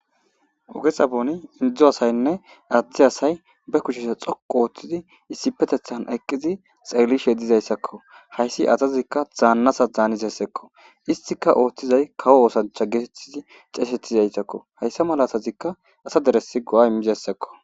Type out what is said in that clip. Ogesa booni indizo asaynne aadhti asay be kushese xoku ooththizi issipetethan eqqizi xeelishe dizayssakko hayssi azazikka zaannasa zaanizesekko istika ooththizay kawo oosancha geetettizi xeesettizayssakko hayssa malatazikka asa deresi go7a immizayssekko.